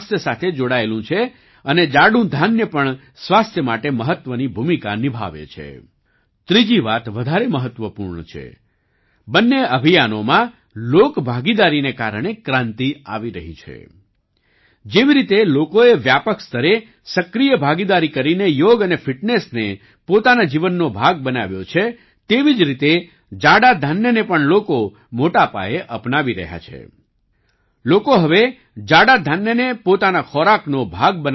આંધ્રપ્રદેશના નાંદયાલ જિલ્લામાં રહેનારા કે